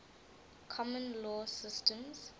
common law systems